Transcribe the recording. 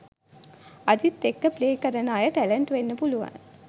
අජිත් එක්ක ප්ලේ කරන අය ටැලන්ට් වෙන්න පුළුවන්